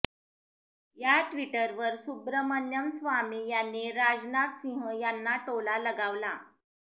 त्या ट्विटवर सुब्रमण्यम स्वामी यांनी राजनाथ सिंह यांना टोला लगावला